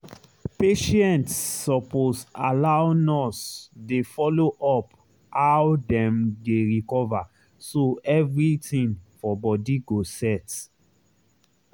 patients suppose allow nurse dey follow up how dem dey recover so everything for body go set.